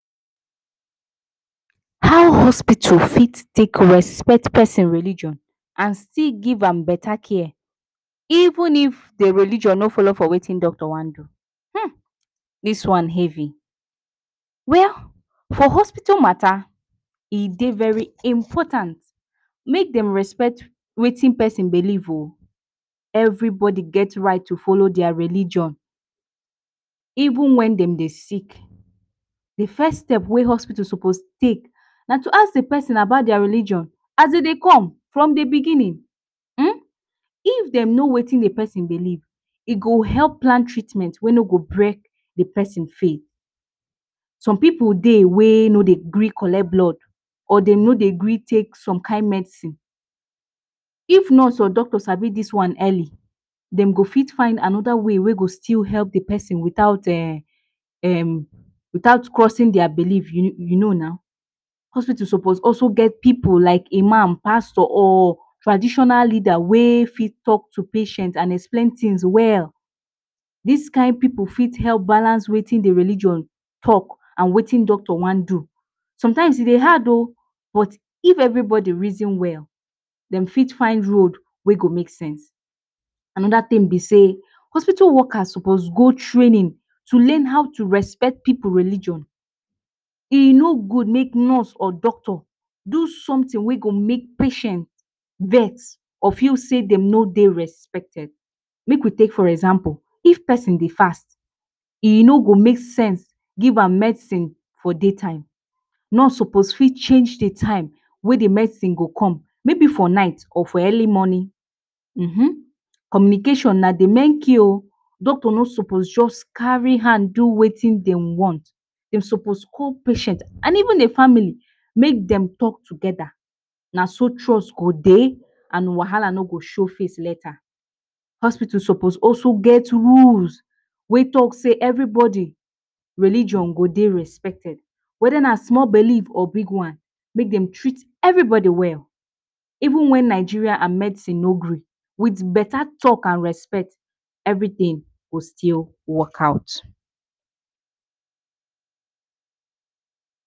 How hospital fit take respect pesin religion and still give am beta care even if the religion no folo for wetin doctor wan do? um dis one heavy,[um] for hospital mata, e dey very important make dem respect wetin pesin belief o, every bodi get right to folo dia religion even wen dem dey sick. The first step wey hospital sopos take na to ask the pesin about dia religion as de dey come from the biginin um, if dem no wetin the pesin belief e go help plan treatment wey no go brek the pesin faith, some pipu dey wey no dye gree collect blood or dem no dey gree take som kind medicine, if nurse or doctor sabi dis one earli, dem go fit find anoda way wey go still help the pesin without um um without crosin dia belief, you you no na, hospital sopos also get pipu like imam, pastor or traditional leada wey fit talk to patient and explain tins well. Dis kind pipu fit help balance wetin the religion talk and wetin doctor wan do, some times e dey hard o, but if everybodi reason well dem fit find road wey go make sense. Anoda tin be sey, hospital workers sopos go trainin to learn how to respect pipu religion, e no gud make nurse or doctor do somtin wey go make patient vex or feel sey dem no dey respected. Make we take for example, if pesin dey fast, e no go make sense give am medicine for day time, nurse sopos fit change the time wey the medicine go come, mey be for night or for earli mornin um communication na the main key o, doctor no sopos just kari hand do wetin dey want, dey sopos call patient and even the family make dem talk togeda, na so trust go dey and wahala no go show face later. Hospital sopos also get rules wey talk sey everybody religion go dey respected weda na small belief or big one. Mey dem treat every body well. Even wen Nigeria and medicine no gree, with beta talk and respect, every tin go still work out.